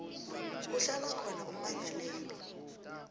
kuhlala khona ummangalelwa